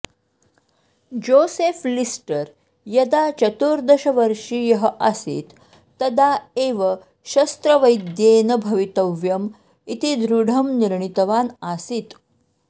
Joseph Lister यदा चतुर्दशवर्षीयः आसीत् तदा एव शस्त्रवैद्येन भवितव्यम् इति दृढं निर्णीतवान् आसीत्